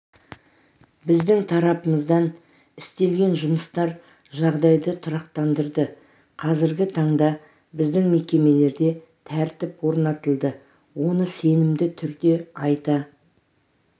біздің тарапымыздан істелген жұмыстар жағдайды тұрақтандырды қазіргі таңда біздің мекемелерде тәртіп орнатылды оны сенімді түрде айта